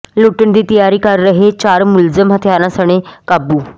ਲੁੱਟਣ ਦੀ ਤਿਆਰੀ ਕਰ ਰਹੇ ਚਾਰ ਮੁਲਜ਼ਮ ਹਥਿਆਰਾਂ ਸਣੇ ਕਾਬੂ